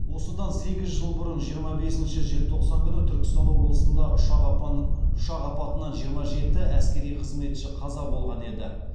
осыдан сегіз жыл бұрын жиырма бесінші желтоқсан күні түркістан облысында ұшақ апатынан жиырма жеті әскери қызметші қаза болған еді